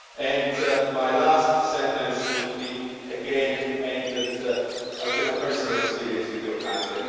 And my last sentence would be again aimed at, I would say, my personal experience with your country.